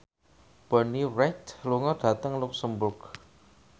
Bonnie Wright lunga dhateng luxemburg